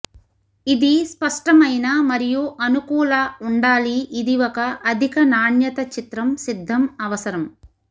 ఇది స్పష్టమైన మరియు అనుకూల ఉండాలి ఇది ఒక అధిక నాణ్యత చిత్రం సిద్ధం అవసరం